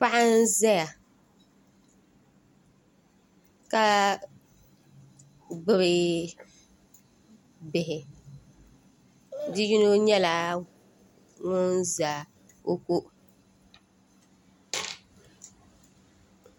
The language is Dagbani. Paɣa n ʒɛya ka gbubi bihi bia yino nyɛla ŋun ʒɛ o ko